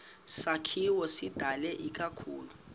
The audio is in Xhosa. sakhiwo sidalwe ikakhulu